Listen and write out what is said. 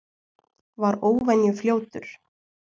Var óvenju fljótur.